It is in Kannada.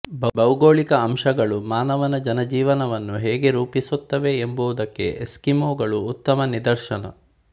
ಭೌಗೋಳಿಕ ಅಂಶಗಳು ಮಾನವನ ಜನಜೀವನವನ್ನು ಹೇಗೆ ರೂಪಿಸುತ್ತವೆ ಎಂಬುದಕ್ಕೆ ಎಸ್ಕಿಮೋಗಳು ಉತ್ತಮ ನಿದರ್ಶನ